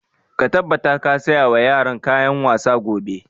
Ka tabbata ka saya wa yaran kayan wasa gobe!